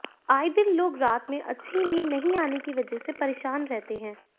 आय दिन लोग रात में अच्छी नींद नहीं आने की वजह से परेशान रहते हैं